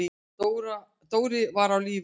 Dóri var á lífi.